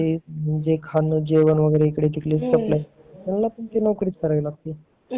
खाण इकडे तिकडे सप्लाय म्हणजे त्यांना पण नौकरीच करावी लागती